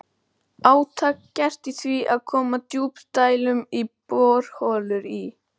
Þetta eru mosavaxnir gervigígar sem standa þétt saman í klösum.